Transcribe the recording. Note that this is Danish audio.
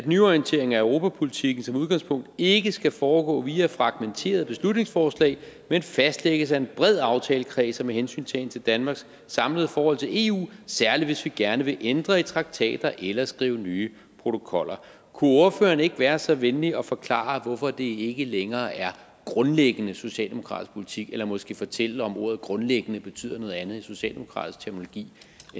nyorientering af europapolitikken som udgangspunkt ikke skal foregå via fragmenterede beslutningsforslag men fastlægges af en bred aftalekreds og med hensyntagen til danmarks samlede forhold til eu særlig hvis vi gerne vil ændre i traktater eller skrive nye protokoller kunne ordføreren ikke være så venlig at forklare hvorfor det ikke længere er grundlæggende socialdemokratisk politik eller måske fortælle om ordet grundlæggende betyder noget andet i socialdemokratisk terminologi